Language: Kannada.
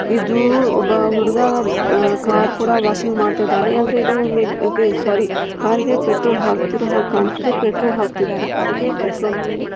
ಇದು ಒಂದು ಹುಡುಗ ಕಾರ್ ಕೂಡ ವಾಷಿಂಗ್ ಮಾಡ್ತಾ ಇದ್ದಾನೆ ಸಾರಿ ಕಾರಿಗೆ ಪೆಟ್ರೋಲ್ ಹಾಕ್ತಾ ಇರೋ ಹಾಗೆ ಕಾಣ್ತಾ ಇದೆ ಪೆಟ್ರೋಲ್ ಆಗ್ತಾ ಇದ್ದಾರೆ ಕಾರ್ಗೆ.